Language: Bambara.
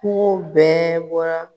Kunfo bɛɛ bɔra.